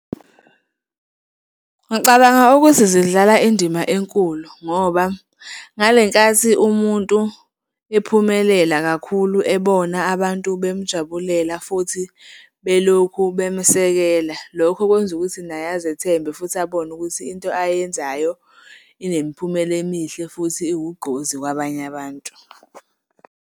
Ngicabanga ukuthi zidlala indima enkulu ngoba ngale nkathi umuntu ephumelela kakhulu, ebona abantu bemjabulela futhi belokhu bemsekela, lokho kwenza ukuthi naye azethembe futhi abone ukuthi into ayenzayo inemiphumela emihle futhi iwugqozi kwabanye abantu.